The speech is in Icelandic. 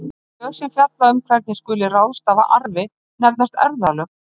þau lög sem fjalla um hvernig skuli ráðstafa arfi nefnast erfðalög